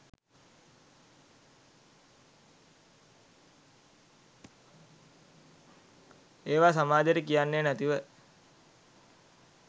ඒවා සමාජෙට කියන්නේ නැතිව